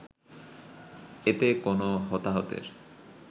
এতে কোনো হতাহতের